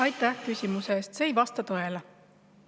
Aitäh küsimuse eest!